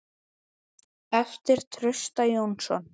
eftir Trausta Jónsson